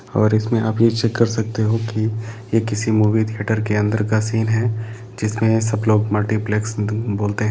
और इसमें आप भी चेक कर सकते हैं कि यह किसी मूवी थिएटर के अंदर का सीन है जिसमें सभी लोग मल्टीप्लेक्स बोलते है।